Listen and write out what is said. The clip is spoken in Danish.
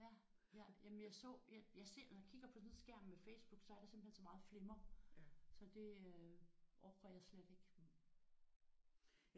Ja jeg jamen jeg så jeg ser når jeg kigger på sådan en skærm med Facebook så er der simpelthen så meget flimmer så det øh orker jeg slet ikke